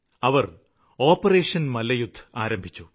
അവര് ഓപ്പറേഷന് മല്ലയുദ്ധ് ആരംഭിച്ചു